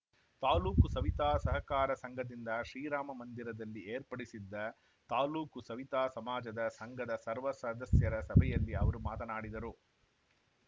ತಾಲೂಕು ಸವಿತಾ ಸಹಕಾರ ಸಂಘದಿಂದ ಶ್ರೀರಾಮ ಮಂದಿರದಲ್ಲಿ ಏರ್ಪಡಿಸಿದ್ದ ತಾಲೂಕು ಸವಿತಾ ಸಮಾಜದ ಸಂಘದ ಸರ್ವ ಸದಸ್ಯರ ಸಭೆಯಲ್ಲಿ ಅವರು ಮಾತನಾಡಿದರು